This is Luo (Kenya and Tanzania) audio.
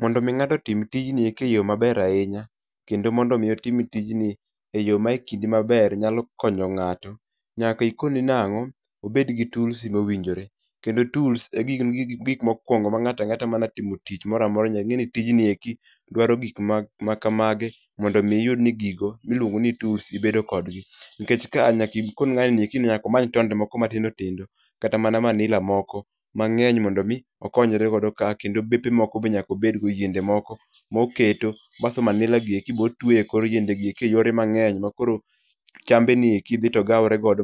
Mondo mi ng'ato otim tijni eke yo maber ahinya, kendo mondo mi otim tijni e yo ma kidi maber nyalo konyo ng'ato, nyaka ikone nango? obed gi tools mowinjore. Kendo tools e gik mokwongo ma ng'at ang'ata ma dwa timo tich moro amora nyaka ing'e tijni dwaro gik makamagi mondo mi iyud ni gigo iluongo ni tools ibedo kodgi. Nikech kaa nyaka ikon ng'ano nyaka omany tonde moko matindo tindo kata mana manila moko mang'eny mondo mi okonyrego ka kendo bepe moko be nyaka obedgo, yiende moko moketo basto manila gi eki be otweyo e kor yiende gi eki eyore mang'eny